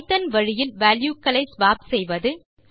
Python வழியில் value க்களை swap செய்வது 5